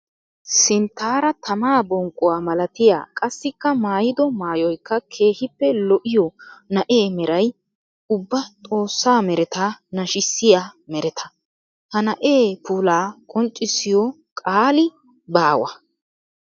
Sinttara tamaa bonqquwa malattiya qassikka maayiddo maayoykka keehippe lo'iyo na'ee meray ubba xoosa meratta nashissiya meretta. Ha na'ee puulla qonccissiyo qaalli baawa.